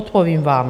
Odpovím vám.